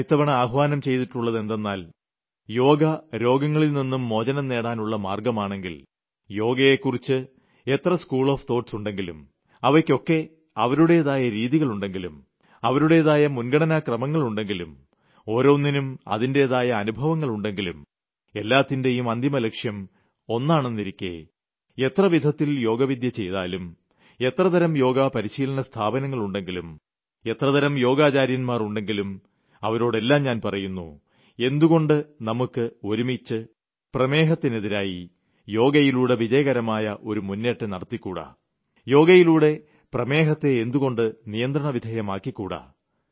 ഞാൻ ഇത്തവണ ആഹ്വാനം ചെയ്തിട്ടുളളതെന്തെന്നാൽ യോഗ രോഗങ്ങളിൽ നിന്നും മോചനം നേടാനുളള മാർഗ്ഗമാണെങ്കിൽ യോഗയെക്കുറിച്ച് എത്ര ചിന്താസരണികൾ ഉണ്ടെങ്കിലും അവയ്ക്കൊക്കെ അവരുടെതായ രീതികളുണ്ടെങ്കിലും അവരുടെതായ മുൻഗണനാ ക്രമങ്ങളുണ്ടെങ്കിലും ഓരോന്നിനും അതിന്റെതായ അനുഭവങ്ങളുണ്ടെങ്കിലും എല്ലാത്തിന്റേയും അന്തിമലക്ഷ്യം ഒന്നാണെന്നിരിക്കെ എത്ര വിധത്തിൽ യോഗ വിദ്യ ചെയ്താലും എത്ര തരം യോഗാ പരിശീലന സ്ഥാപനങ്ങളുണ്ടെങ്കിലും എത്ര തരം യോഗാചാര്യൻമാർ ഉണ്ടെങ്കിലും അവരോടെല്ലാം ഞാൻ പറയുന്നു എന്തുകൊണ്ട് നമുക്ക് ഒരുമിച്ച് പ്രമേഹത്തിന് ഡയബറ്റിസ് എതിരായി യോഗയിലൂടെ വിജയകരമായ ഒരു മുന്നേറ്റം നടത്തിക്കൂടാ യോഗയിലൂടെ പ്രമേഹത്തെ എന്തുകൊണ്ട് നിയന്ത്രണ വിധേയമാക്കി കൂടാ